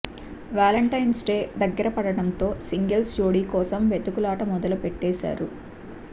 Valentine's day దగ్గర పడటంతో singles జోడీ కోసం వెతుకులాట మొదటుపెట్టేశారు